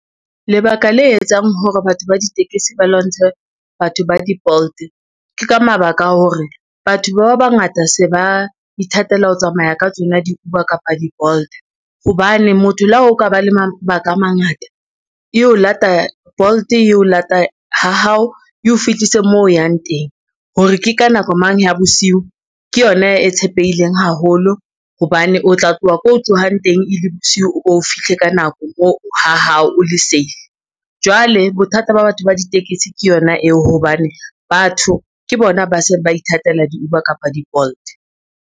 Lebaka le etsang hore batho ba ditekesi ba lwantshe batho ba di-Bolt, ke ka mabaka a hore batho ba bangata se ba ithatela ho tsamaya ka tsona di-Uber kapa di-Bolt, hobane motho la ho ka ba le mabaka a mangata Bolt e o lata ha hao eo fihlise mo o yang teng hore ke ka nako mang ya bosiu ke yona e tshepileng haholo hobane o tla tloha ko tlohang teng e le bosiu, o fihle ka nako ha hao o le save. Jwale bothata ba batho ba ditekesi ke yona eo hobane batho ke bona ba seng ba ithatela di-Uber kapa di-Bolt.